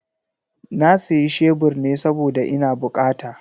Na siya shebur ne saboda ina bukata.